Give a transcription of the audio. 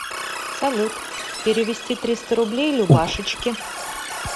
салют перевести триста рублей любашечке